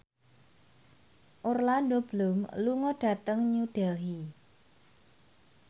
Orlando Bloom lunga dhateng New Delhi